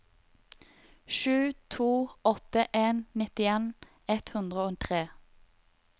sju to åtte en nittien ett hundre og tre